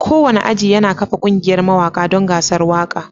Kowane aji yana kafa ƙungiyar mawaƙa don gasar waƙa